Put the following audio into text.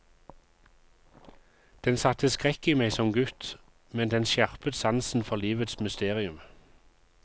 Den satte skrekk i meg som gutt, men den skjerpet sansen for livets mysterium.